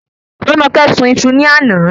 Romoke sun iṣu ní àná